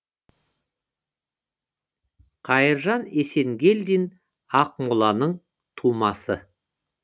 қайыржан есенгелдин ақмоланың тумасы